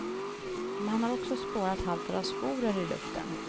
Man har också spårat halter av sporer i luften.